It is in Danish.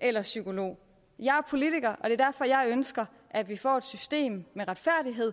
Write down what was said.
eller psykolog jeg er politiker og det er derfor jeg ønsker at vi får et system med retfærdighed